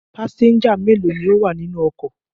Pásẹ́ńjà mélòó ni ó wà nínú ọkọ̀?